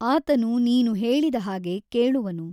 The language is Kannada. ಆತನು ನೀನು ಹೇಳಿದ ಹಾಗೆ ಕೇಳುವನು.